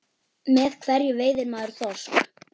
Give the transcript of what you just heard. Með hverju veiðir maður þorsk?